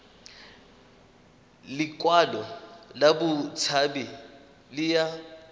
lekwalo la botshabi le ya